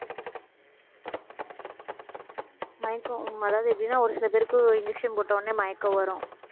மயக்கம் அதாவது எப்படின்னா ஒரு சில பேருக்கு injection போட்ட உடனே மயக்கம் வரும்